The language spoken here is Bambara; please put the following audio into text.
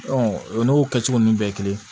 o n'o kɛcogo ninnu bɛɛ ye kelen